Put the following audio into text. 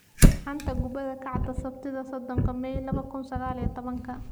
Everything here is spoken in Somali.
Xanta kubada cagta Sabtida sodonka may laba kun iyo sagal iyo tobanka: Sane, Hernandez, Hendrick, Bellingham